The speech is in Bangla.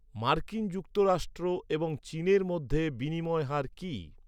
মার্কিন যুক্তরাষ্ট্র এবং চীনের মধ্যে বিনিময় হার কি?